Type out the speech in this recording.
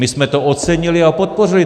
My jsme to ocenili a podpořili.